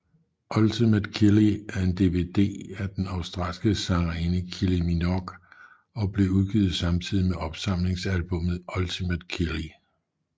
Ultimate Kylie er en DVD af den australske sangerinde Kylie Minogue og blev udgivet samtidig med opsamlingsalbumet Ultimate Kylie